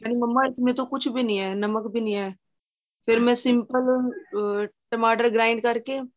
ਕਹਿੰਦੀ ਮੰਮਾ ਇਸ ਮੈਂ ਤੋ ਕੁੱਛ ਵੀ ਨਹੀਂ ਏ ਨਮਕ ਵੀ ਨਹੀਂ ਹੈ ਫ਼ੇਰ ਮੈਂ simple ਅਹ ਟਮਾਟਰ grand ਕਰਕੇ